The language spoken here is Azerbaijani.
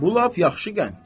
Bu lap yaxşı qənddir.